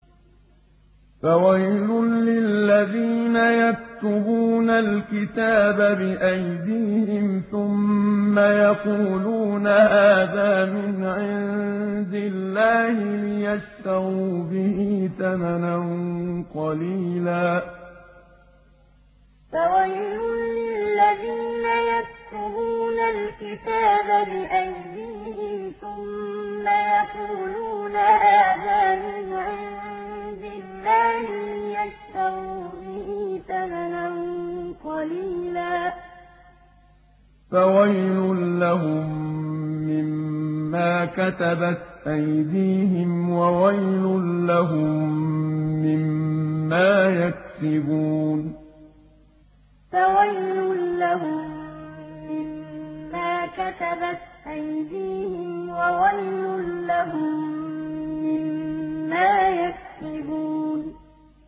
فَوَيْلٌ لِّلَّذِينَ يَكْتُبُونَ الْكِتَابَ بِأَيْدِيهِمْ ثُمَّ يَقُولُونَ هَٰذَا مِنْ عِندِ اللَّهِ لِيَشْتَرُوا بِهِ ثَمَنًا قَلِيلًا ۖ فَوَيْلٌ لَّهُم مِّمَّا كَتَبَتْ أَيْدِيهِمْ وَوَيْلٌ لَّهُم مِّمَّا يَكْسِبُونَ فَوَيْلٌ لِّلَّذِينَ يَكْتُبُونَ الْكِتَابَ بِأَيْدِيهِمْ ثُمَّ يَقُولُونَ هَٰذَا مِنْ عِندِ اللَّهِ لِيَشْتَرُوا بِهِ ثَمَنًا قَلِيلًا ۖ فَوَيْلٌ لَّهُم مِّمَّا كَتَبَتْ أَيْدِيهِمْ وَوَيْلٌ لَّهُم مِّمَّا يَكْسِبُونَ